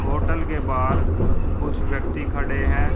Hotel के बाहर कुछ व्यक्ती खड़े हैं।